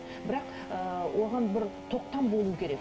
бірақ оған бір тоқтам болу керек